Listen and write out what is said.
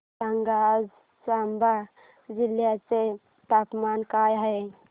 सांगा आज चंबा जिल्ह्याचे तापमान काय आहे